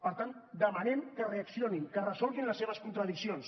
per tant demanem que reaccionin que resolguin les seves contradiccions